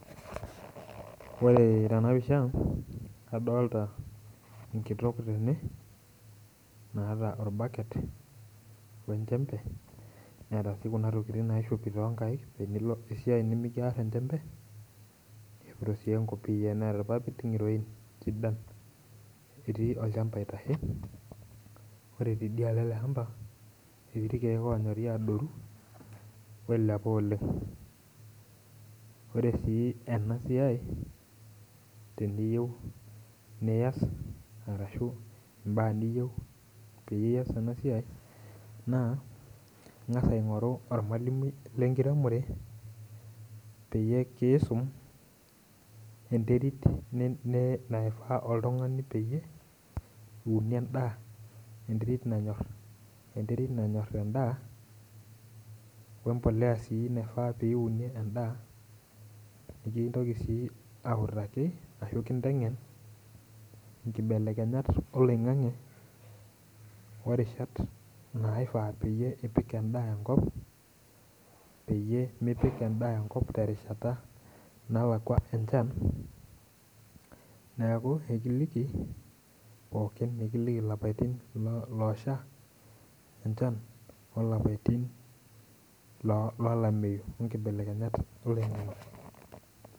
Ore tenapisha, kadolta enkitok tebe, naata orbaket wenchembe, neeta si kuna tokiting naishopi tonkaik tenilo esiai nimikiar enchembe, nishopito si enkopiyia neeta irpapit ng'iroin sidan. Etii olchamba aitashe, ore tidialo ele hamba etii irkeek onyori, oilepa oleng. Ore enasiai, teniyieu nias arashu imbaa niyieu pias enasiai, naa, ing'asa aing'oru ormalimui lenkiremore, peyie kiisum enterit naifaa oltung'ani peyie iunie endaa, enterit nanyor endaa, wempolea si naifaa piunie endaa, nikintoki si autaki ashu kiteng'en, nkibelekenyat oloing'ang'e, orishat naifaa nipik endaa enkop, peyie mipik endaa enkop terishata nalakwa enchan, neeku ekiliki pookin, nikiliki lapaitin osha enchan, olapaitin lolameyu onkibelekenyat.